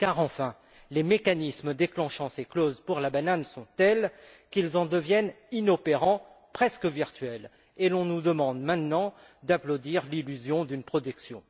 Car enfin, les mécanismes déclenchant ces clauses pour la banane sont tels qu'ils en deviennent inopérants, presque virtuels. Et l'on nous demande maintenant d'applaudir l'illusion d'une production!